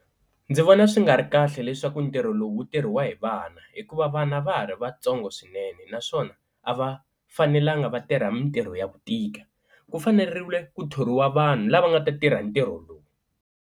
Ndzi vona swi nga ri kahle leswaku ntirho lowu wu tirhisiwa hi vana hikuva vana va ha ri vatsongo swinene naswona a va fanelanga va tirha mintirho ya ku tika, ku faneriwile ku thoriwa vanhu lava nga ta tirha ntirho lowu.